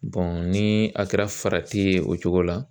ni a kɛra farati ye o cogo la